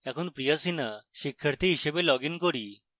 এখন priya sinha শিক্ষাথী হিসাবে লগইন করি